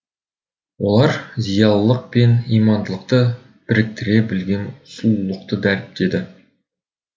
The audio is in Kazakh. олар зиялылық пен имандылықты біріктіре білген сұлулықты дәріптеді